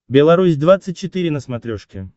белорусь двадцать четыре на смотрешке